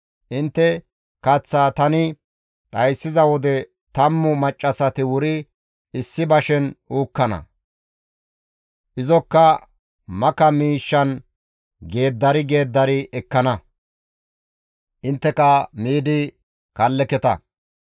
Intte kaththaa tani dhayssiza wode tammu maccassati wuri issi bashen uukkana; izokka maka miishshan geeddari geeddari ekkana; intteka miidi kalleketa.